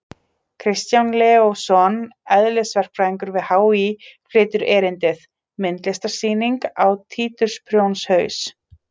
Kristján Leósson, eðlisverkfræðingur við HÍ, flytur erindið: Myndlistarsýning á títuprjónshaus!